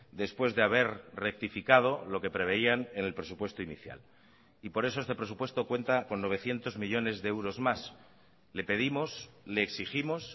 después de haber rectificado lo que preveían en el presupuesto inicial y por eso este presupuesto cuenta con novecientos millónes de euros más le pedimos le exigimos